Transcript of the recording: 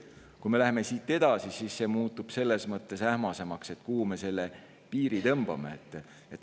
Kui me läheme edasi, siis muutub ähmasemaks, kuhu me selle piiri tõmbame.